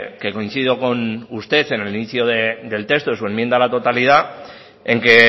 que coincido con usted en el inicio del texto en su enmienda a la totalidad en que